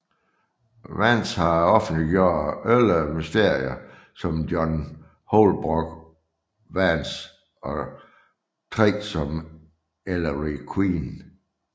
Vance har offentliggjort elleve mysterier som John Holbrook Vance og tre som Ellery Queen